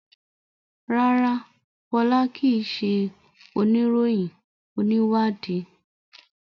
rara, Fola kii ṣe oniroyin oniwadii